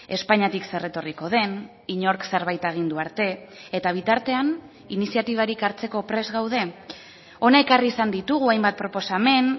espainiatik zer etorriko den inork zerbait agindu arte eta bitartean iniziatibarik hartzeko prest gaude hona ekarri izan ditugu hainbat proposamen